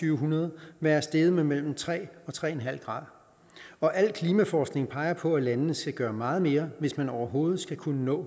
en hundrede være steget med mellem tre og tre en halv grad og al klimaforskning peger på at landene skal gøre meget mere hvis man overhovedet skal kunne nå